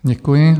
Děkuji.